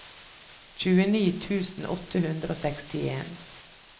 tjueni tusen åtte hundre og sekstien